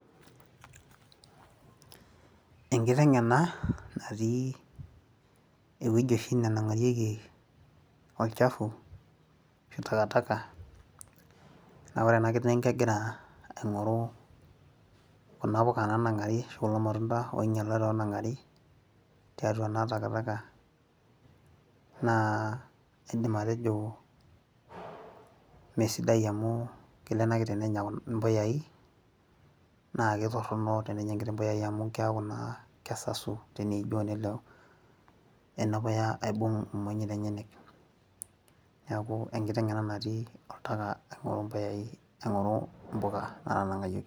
enkiteng' ena natii ewueji oshi nenang'arieki olchafu asu takatak, naa ore ena kiteng kegira aing'oru impuka, ashu kulo matunda oing'ialate oonang'ari tiatua naa takitaka, naa idim atejo mme sidai amu kelo ena kiteng' nenya mpuyai, naa mme sidai tenenya mpuyai amu kesasu teneijoo nelo ena puya aibung' imonyit enyenyek. neeku enkiteng' ena natii oltaka aing'oru impuka naa tanang'ayioki.